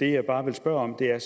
det jeg bare vil spørge om er